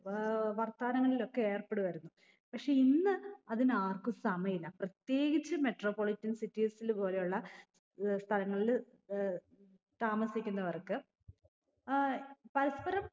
ഏർ വർത്താനങ്ങളിലൊക്കെ ഏർപ്പെടുമായിരുന്നു പക്ഷെ ഇന്ന് അതിനാർക്കു സമയില്ല പ്രത്യേകിച്ച് metro politian cities ൽ പോലെയുള്ള ഏർ സ്ഥലങ്ങളിൽ ഏർ താമസിക്കുന്നവർക്ക് ഏർ പരസ്പരം